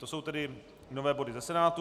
To jsou tedy nové body ze Senátu.